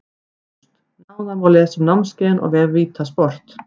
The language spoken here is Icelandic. ÁGÚST Nánar má lesa um námskeiðin á vef VITA sport.